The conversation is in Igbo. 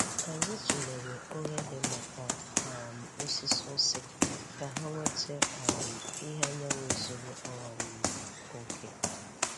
Anyị tụlere oghere maka um osisi ose ka ha nweta um ìhè anyanwụ zuru um oke.